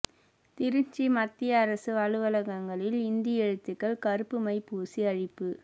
திருச்சி மத்திய அரசு அலுவலகங்களில் இந்தி எழுத்துக்கள் கருப்பு மை பூசி அழிப்பு